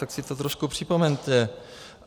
Tak si to trošku připomeňte.